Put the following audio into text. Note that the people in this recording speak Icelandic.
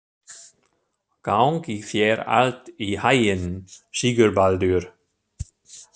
Gangi þér allt í haginn, Sigurbaldur.